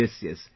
yes, yes